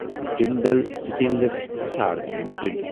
Jindal stainless Hisar limited